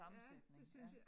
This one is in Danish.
Ja det synes jeg